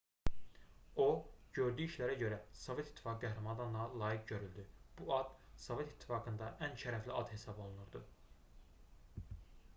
o gördüyü işlərə görə sovet i̇ttifaqı qəhrəmanı adına layiq görüldü bu ad sovet i̇ttifaqında ən şərəfli ad hesab olunurdu